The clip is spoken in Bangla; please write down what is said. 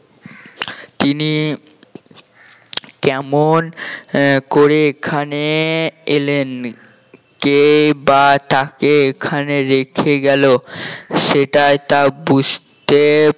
তিনি কমন আহ করে এখানে এলেন কেই বা তাকে এখানে রেখে গেল সেটাই তার বুঝতে